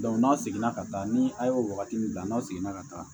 n'a seginna ka taa ni a ye o wagati min na n'a seginna ka taa